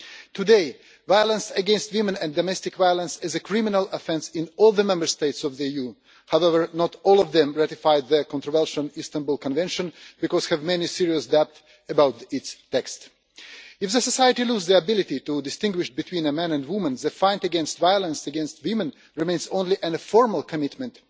Today, violence against women and domestic violence is a criminal offence in all the Member States of the EU, but not all of them have ratified the controversial Istanbul Convention because they have many serious doubts about its text. If society loses its ability to distinguish between a man and woman, the fight against violence against women remains only an informal commitment.